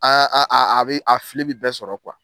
a bɛ a fili bɛ bɛɛ sɔrɔ .